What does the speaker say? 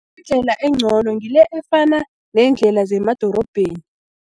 Indlela encono ngile efana neendlela zemadorobheni.